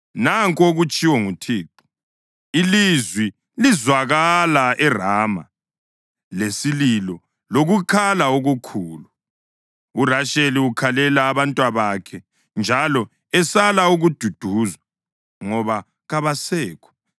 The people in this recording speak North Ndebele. Nanku okutshiwo nguThixo: “Ilizwi lizwakala eRama, lesililo lokukhala okukhulu, uRasheli ukhalela abantwabakhe njalo esala ukududuzwa, ngoba kabasekho.”